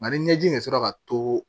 Nka ni ɲɛji de sera ka to